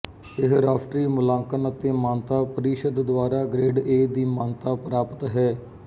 ਇਹ ਰਾਸ਼ਟਰੀ ਮੁਲਾਂਕਣ ਅਤੇ ਮਾਨਤਾ ਪ੍ਰੀਸ਼ਦ ਦੁਆਰਾ ਗ੍ਰੇਡ ਏ ਦੀ ਮਾਨਤਾ ਪ੍ਰਾਪਤ ਹੈ